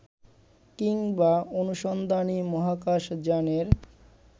কিংবা অনুসন্ধানী মহাকাশযানের